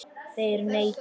Þeir neita.